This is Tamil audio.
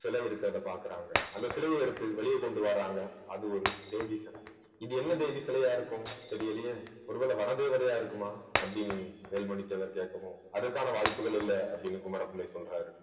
சிலை இருக்கிறதை பார்க்கிறாங்க அந்த சிலையை எடுத்து வெளியே கொண்டு வர்றாங்க அது ஒரு தேவி சிலை இது என்ன தேவி சிலையா இருக்கும் தெரியலயே ஒருவேளை வன தேவதையா இருக்குமா அப்படின்னு வேல்மணி தேவர் கேட்கவும் அதற்கான வாய்ப்புகள் இல்லை அப்படின்னு குமரப்பிள்ளை சொல்றாரு